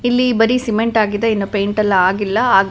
ಇಲ್ಲಿ ಬರಿ ಸಿಮೆಂಟ್ ಆಗಿದೆ ಇನ್ನು ಪೈಂಟ್ ಎಲ್ಲಾ ಆಗಿಲ್ಲ ಹಾಗು--